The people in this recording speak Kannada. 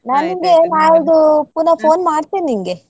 ನಾ ನಿನ್ಗೆ ನಾಳ್ದು ಪುನಃ phone ಮಾಡ್ತೆನೆ ನಿಂಗೆ.